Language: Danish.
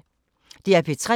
DR P3